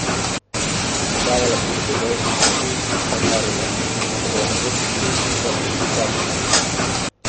Pa tudi tavala po podeželskih poteh in sanjarila, da bova nekoč pesnika in pisatelja.